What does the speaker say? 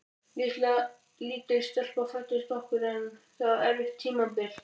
Lítil stelpa fæddist okkur en það var erfitt tímabil.